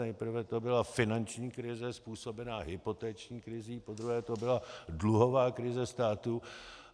Nejprve to byla finanční krize způsobená hypoteční krizí, podruhé to byla dluhová krize státu.